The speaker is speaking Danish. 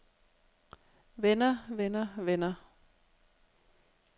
vender vender vender